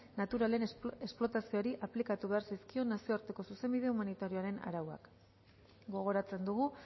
naturalen esplotazioari aplikatu behar zaizkiok nazioarteko zuzenbide humanitarioaren arauak gogoratzen dugu